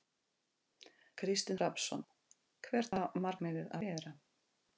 Kristinn Hrafnsson: Hvert á markmiðið að vera?